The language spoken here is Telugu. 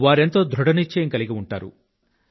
వారెంతో ధృఢ నిశ్చయం కలిగి ఉంటారు